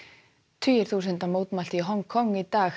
tugir þúsunda mótmæltu í Hong Kong í dag